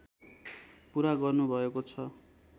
पूरा गर्नुभएको छ